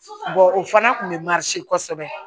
o fana kun bɛ kɔsɛbɛ